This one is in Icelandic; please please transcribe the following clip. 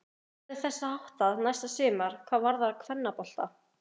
Hvernig verður þessu háttað næsta sumar hvað varðar kvennabolta?